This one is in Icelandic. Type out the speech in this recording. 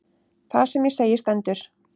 Það sem ég segi stendur.